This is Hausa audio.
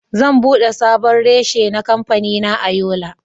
Zan bude sabon reshe na kamfanina a Yola.